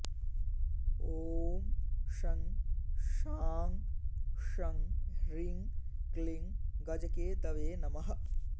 ॐ शं शां षं ह्रीं क्लीं गजकेतवे नमः